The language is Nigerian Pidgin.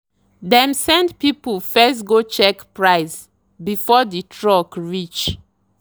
dem send people first go check price before the truck reach.